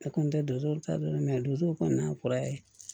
Ne kɔni tɛ dusu ta don donsow kɔni n'a kɔrɔya ye